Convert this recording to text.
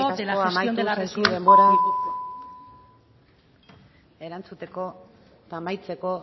de las residencias eskerrik asko kortajarena andrea amaitu zaizu denbora erantzuteko eta amaitzeko